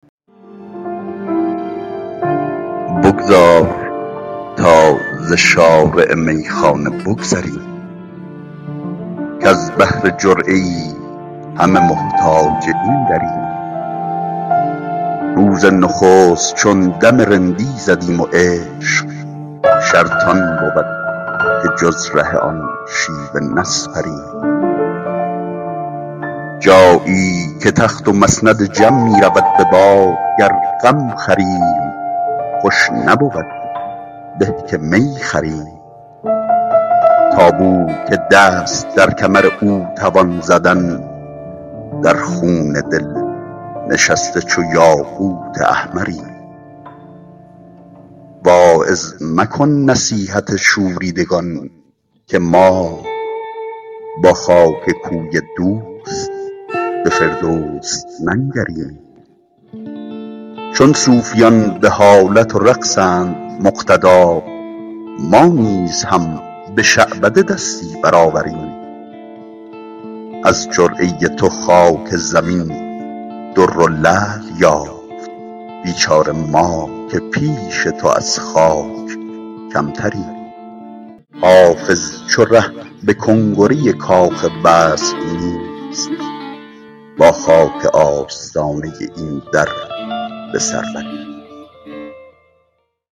بگذار تا ز شارع میخانه بگذریم کز بهر جرعه ای همه محتاج این دریم روز نخست چون دم رندی زدیم و عشق شرط آن بود که جز ره آن شیوه نسپریم جایی که تخت و مسند جم می رود به باد گر غم خوریم خوش نبود به که می خوریم تا بو که دست در کمر او توان زدن در خون دل نشسته چو یاقوت احمریم واعظ مکن نصیحت شوریدگان که ما با خاک کوی دوست به فردوس ننگریم چون صوفیان به حالت و رقصند مقتدا ما نیز هم به شعبده دستی برآوریم از جرعه تو خاک زمین در و لعل یافت بیچاره ما که پیش تو از خاک کمتریم حافظ چو ره به کنگره کاخ وصل نیست با خاک آستانه این در به سر بریم